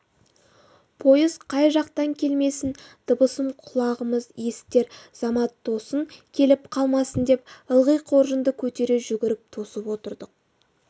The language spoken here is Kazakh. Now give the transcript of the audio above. пойыз қай жақтан келмесін дыбысын құлағымыз есітер замат тосын келіп қалмасын деп ылғи қоржынды көтере жүгіріп тосып отырдық